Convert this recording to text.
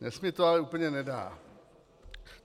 Dnes mi to ale úplně nedá.